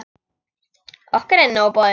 Okkur er nóg boðið